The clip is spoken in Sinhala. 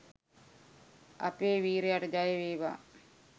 අපේ වීරයට ජයවේවා